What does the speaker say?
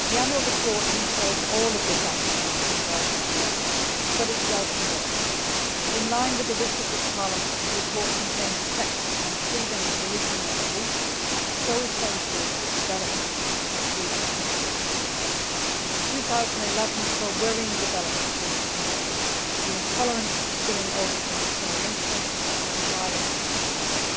The annual report details all of this action in 2011. But it does more in line with the wishes of Parliament, the report contains a section on freedom of religion or belief, which is so essential to the development of free societies. 2011 saw worrying developments in this connection, with intolerance spilling over from discrimination into violent attacks.